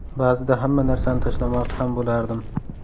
Ba’zida hamma narsani tashlamoqchi ham bo‘lardim.